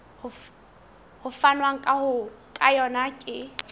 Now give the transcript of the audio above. ho fanwang ka yona ke